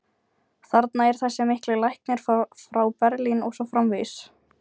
þarna er þessi mikli læknir frá Berlín og svo framvegis.